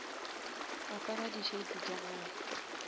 apara di shades tša gago